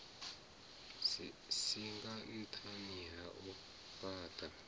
singa nṱhani ha u fhaṱha